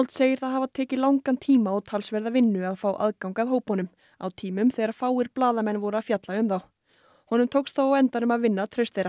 segir það hafa tekið langan tíma og talsverða vinnu að fá aðgang að hópunum á tímum þegar fáir blaðamenn voru að fjalla um þá honum tókst þó á endanum að vinna traust þeirra